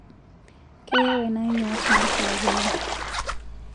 Keyieu ena nyuat naashulakinoi